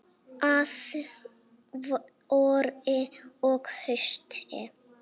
Að vori og hausti.